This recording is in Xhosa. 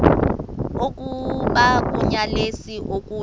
oku bakunyelise okuya